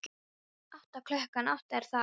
Átta, klukkan átta, er það ekki?